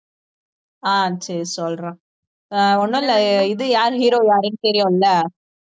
அஹ் சரி சொல்றேன் அஹ் ஒண்ணும் இல்லை இது யாரு hero யாருன்னு தெரியும்ல